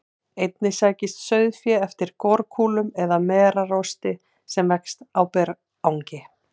Einnig sækist sauðfé eftir gorkúlum eða merarosti sem vex á berangri.